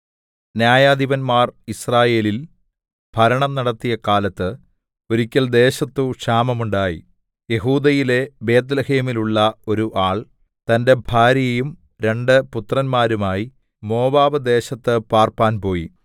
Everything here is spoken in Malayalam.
ന്യായാധിപന്മാർ യിസ്രയേലിൽ ഭരണം നടത്തിയ കാലത്ത് ഒരിക്കൽ ദേശത്തു ക്ഷാമം ഉണ്ടായി യെഹൂദയിലെ ബേത്ത്ലേഹേമിലുള്ള ഒരു ആൾ തന്റെ ഭാര്യയും രണ്ടു പുത്രന്മാരുമായി മോവാബ്‌ദേശത്ത് പാർപ്പാൻ പോയി